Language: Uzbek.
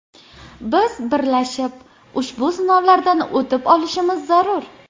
Biz birlashib, ushbu sinovlardan o‘tib olishimiz zarur.